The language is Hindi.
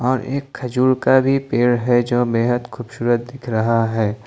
और एक खजूर का भी पेड़ है जो बेहद खुबसुरत दिख रहा है।